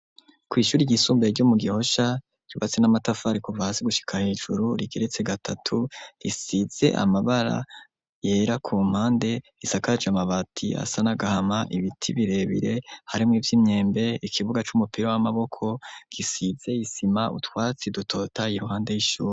Ku ishuri ryisumbuye ryo mu Gihosha ryubatse n'amatafari kuva hasi gushika hejuru rigeretse gatatu risize amabara yera ku mpande isakaje amabati asa n'agahama, ibiti birebire harimwo ivy'imyembe, ikibuga c'umupira w'amaboko gisize isima, utwatsi dutotahaye iruhande y'ishuri.